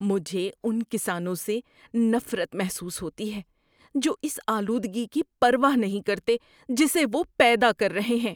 مجھے ان کسانوں سے نفرت محسوس ہوتی ہے جو اس آلودگی کی پرواہ نہیں کرتے جسے وہ پیدا کر رہے ہیں۔